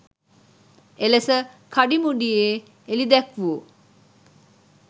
එලෙස කඩිමුඩියේ එළිදැක්වූ